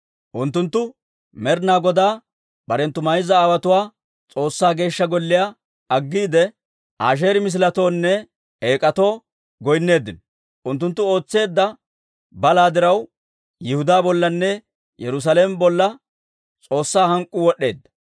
Unttunttu Med'inaa Godaa barenttu mayza aawotuwaa S'oossaa Geeshsha Golliyaa aggiide, Asheeri misiletoonne eek'atoo goynneeddino. Unttunttu ootseedda balaa diraw, Yihudaa bollanne Yerusaalame bolla S'oossaa hank'k'uu wod'd'eedda.